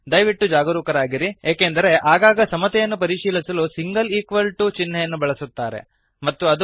ದಯವಿಟ್ಟು ಜಾಗರೂಕರಾಗಿರಿ ಏಕೆಂದರೆ ಆಗಾಗ ಸಮತೆಯನ್ನು ಪರಿಶೀಲಿಸಲು single equal to single equal to ಚಿಹ್ನೆಯನ್ನು ಬಳಸುತ್ತಾರೆ